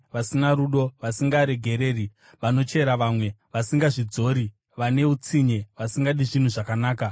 vasina rudo, vasingaregereri, vanochera vamwe, vasingazvidzori, vane utsinye, vasingadi zvinhu zvakanaka,